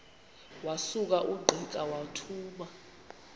wasuka ungqika wathuma